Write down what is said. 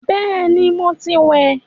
Bẹẹni, mo ti wẹ̀